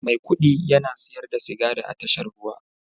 Maikudi yana siyar da sigari a tashar ruwa